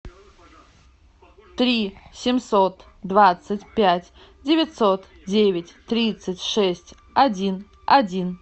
три семьсот двадцать пять девятьсот девять тридцать шесть один один